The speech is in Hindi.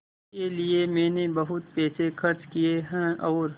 इसके लिए मैंने बहुत पैसे खर्च किए हैं और